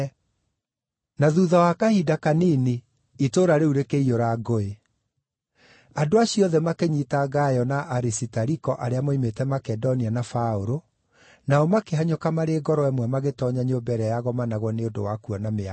Na thuutha wa kahinda kanini itũũra rĩu rĩkĩiyũra inegene. Andũ acio othe makĩnyiita Gayo na Arisitariko arĩa moimĩte Makedonia na Paũlũ, nao makĩhanyũka marĩ ngoro ĩmwe magĩtoonya nyũmba ĩrĩa yagomanagwo nĩ ũndũ wa kuona mĩago.